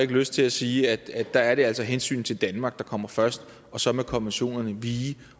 lyst til at sige at der er det altså hensynet til danmark der kommer først og så må konventionerne vige